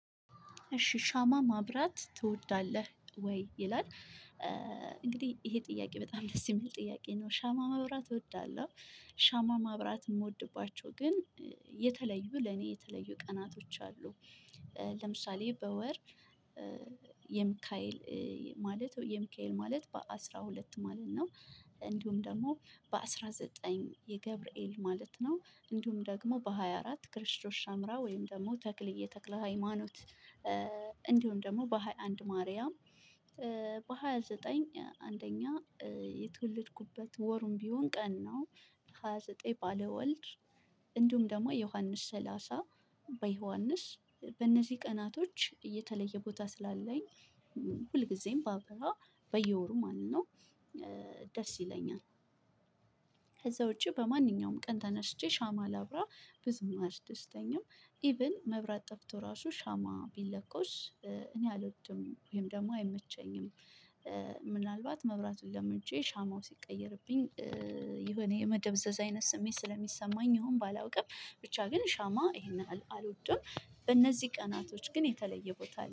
እሺ ሻማ ማብራት ትወዳለህ ወይ? ይላል እንግዲህ ይሄ ጥያቄ በጣም ደስ የሚል ጥያቄ ነው ሻማ ማብራት እወዳለሁ። ሻማ ማብራት የምወድባቸው ግን የተለዩ ለኔ የተለዩ ቀናቶች አሉ። ለምሳሌ በወር የሚካኤል ማለት የሚካኤል ማለት በአስራ ሁለት ማለት ነው እንዲሁም ደግሞ በአስራ ዘጠኝ የገብርኤል ማለት ነው እንዲሁም ደግሞ በሃያ አራት ክርስቶስ ሰምራ ወይም ደግሞ ተክልዬ ተክለ ሃይማኖት። እንዲሁም ደግሞ በሃያ አንድ ማርያም። በሃያ ዘጠኝ አንደኛ የተወለድኩበት ወሩም ቢሆን ቀን ነው። ሀያዘጠኝ ባለ ወልድ። እንዲሁም ደግሞ ዮሐንስ ሰላሳ በዮሐንስ በእነዚህ ቀናቶች የተለየ ቦታ ስላለኝ። ሁልጊዜም ባበራ በየወሩ ማለት ነው። ደስ ይለኛል። ከዛ ውጪ በማንኛውም ቀን ተነስቼ ሻማ ላብራ ብዙም አስደስተኛም ኢቭን መብራት ጠፍቶ ራሱ ሻማ ቢለኮስ እኔ አልወድም ወይም ደግሞ አይመቸኝም። ምናልባት መብራቱን ለምጀ ሻማው ሲቀየርብኝ። የሆነ የመደብዘዝ አይነት ስሜት ስለሚሰማኝ ይሁን ባላውቅም ብቻ ግን ሻማ ይሄንንያህል አልወድም እነዚህ ቀናቶች ግን የተለየበት አለ